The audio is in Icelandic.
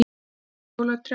Kveiktu í jólatrjám